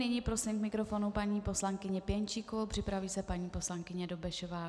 Nyní prosím k mikrofonu paní poslankyni Pěnčíkovou, připraví se paní poslankyně Dobešová.